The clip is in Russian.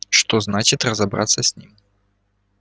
что значит разобраться с ним